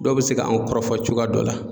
Dɔw bɛ se ka anw kɔrɔfɔ cogoya dɔ la.